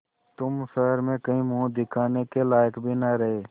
तुम शहर में कहीं मुँह दिखाने के लायक भी न रहे